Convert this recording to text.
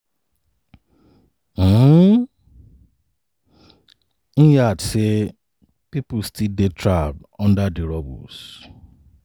um im add say pipo still dey trapped under di rubbles